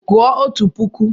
Gụọ otu puku!